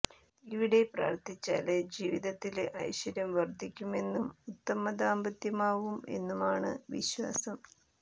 ഇവിടെ പ്രാര്ത്ഥിച്ചാല് ജീവിതത്തില് ഐശ്വര്യം വര്ദ്ധിക്കുമെന്നും ഉത്തമ ദാമ്പത്യമാവും എന്നുമാണ് വിശ്വാസം